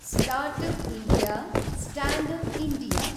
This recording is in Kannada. startup India, standup India